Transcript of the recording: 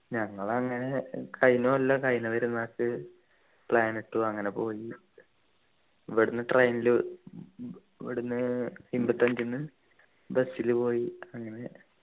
ഞങ്ങൾ അങ്ങനെ കഴിഞ്ഞ കൊല്ലം കഴിഞ്ഞ പെരുന്നാക്ക് plan ഇട്ടു അങ്ങനെ പോയി ഇവിടുന്നു train ലു ഇവിടുന്നു ഇമ്പത്തഞ്ചു ന്നു bus ലു പോയി അങ്ങനെ